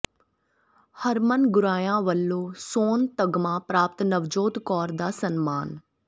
ਹਰਮਨ ਗੁਰਾਇਆ ਵਲੋਂ ਸੋਨ ਤਗ਼ਮਾ ਪ੍ਰਾਪਤ ਨਵਜੋਤ ਕੌਰ ਦਾ ਸਨਮਾਨ